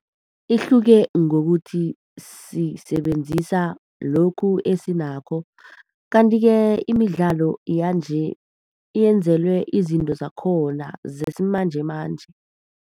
Ihluke ngokuthi sisebenzisa lokhu esinakho. Kanti-ke imidlalo yanje yenzelwe izinto zakhona, zesimanjemanje.